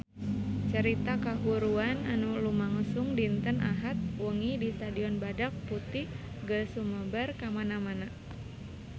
Carita kahuruan anu lumangsung dinten Ahad wengi di Stadion Badak Putih geus sumebar kamana-mana